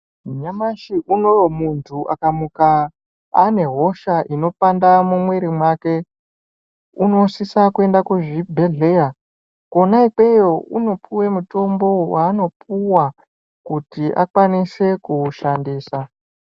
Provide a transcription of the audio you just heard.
Nyamashi unowu muntu akamuka, ane hosha inopanda mumwiri mwake, unosisa kuenda kuzvibhedhleya. Kwona ikweyo unopuwa mutombo waanopuwa, kuti akwanise kuushandisa.